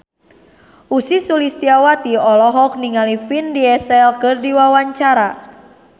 Ussy Sulistyawati olohok ningali Vin Diesel keur diwawancara